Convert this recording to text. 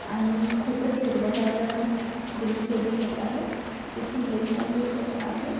आणि खूपच हिरवंगार अं दृश्य दिसत आहे इथून लेक पण दिसत आहे.